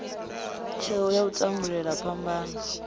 tsheo ya u tandulula phambano